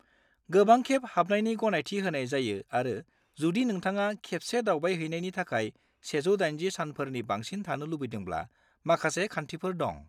गोबांखेब हाबनायनि गनायथि होनाय जायो आरो जुदि नोंथाङा खेबसे दावबायहैनायनि थाखाय 180 सानफोरनि बांसिन थानो लुबैदोंब्ला माखासे खान्थिफोर दं।